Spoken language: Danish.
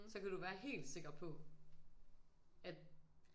Så kan du være helt sikker på at